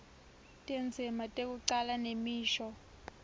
tindzima tekucala nemisho